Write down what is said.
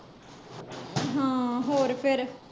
ਹਾਂ, ਹੋਰ ਫੇਰ?